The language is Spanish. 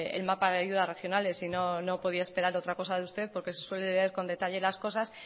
el mapa de ayuda a regionales y no podía esperar otra cosa de usted porque se suele leer con detalle las cosas